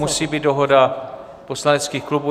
Musí být dohoda poslaneckých klubů.